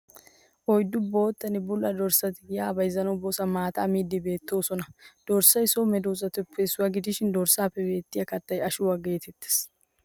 Oyddu boottanne bulla doessati giyaa bayizzanawu bosan maataa miiddinne beettoosona. Dirssay so medoosatuppe issuwa gidishin dorssaappe beettiya kattay ashuwaa geetettes